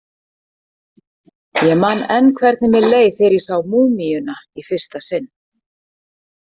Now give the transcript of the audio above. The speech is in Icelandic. Ég man enn hvernig mér leið þegar ég sá múmíuna í fyrsta sinn.